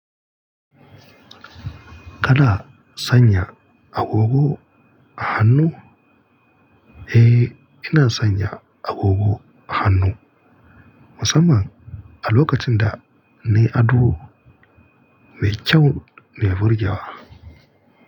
Kana sanya agogo a hannu? Eh, ina sanya agogo a hannu. Musamman a lokacin da nayi ado nayi kyau nayi burge wa.